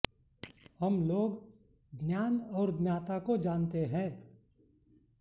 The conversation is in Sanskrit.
हम लोग ज्ञान और ज्ञाता को जानते हैं